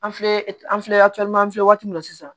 An filɛ an filɛ an filɛ waati min na sisan